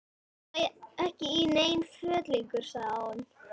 Ég passa ekki í nein föt lengur sagði hún.